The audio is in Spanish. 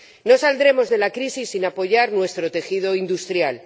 No saldremos de la crisis sin apoyar nuestro tejido industrial.